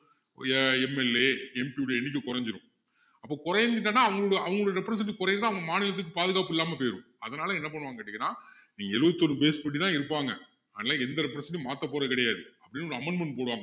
ஆஹ் ஒரு MLAMP உடைய எண்ணிக்கை குறைஞ்சிடும் அப்போ குறைஞ்சிட்டான்னா அவ~அவங்களுடைய representative குறையுதுன்னு அவங்க மாநிலத்துக்கு பாதுகாப்பு இல்லாம போயிடும் அதனால என்ன பண்ணுவாங்கன்னு கேட்டீங்கன்னா நீங்க எழுபத்தி ஒரு base படி தான் இருப்பாங்க ஆனா எந்த representative உம் மாத்த போறது கிடையாது எப்படியும் ஒரு amendment போடுவாங்க